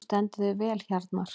Þú stendur þig vel, Hjarnar!